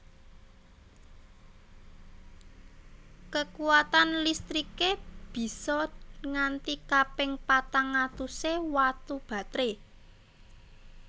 Kekuwatan listriké bisa nganti kaping patang atusé watu batré